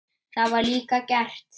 Það var líka gert.